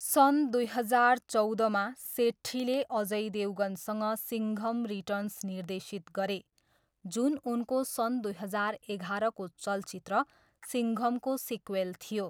सन् दुई हजार चौधमा, सेट्ठीले अजय देवगनसँग सिङ्घम रिटर्न्स निर्देशित गरे, जुन उनको सन् दुई हजार एघाह्रको चलचित्र सिङ्घमको सिक्वेल थियो।